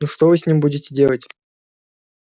ну что вы с ним будете делать